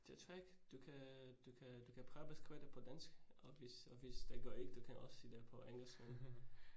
Det tror ikke. Du kan du kan du kan prøve at beskrive det på dansk, og hvis og hvis det går ikke, du kan også sige det på engelsk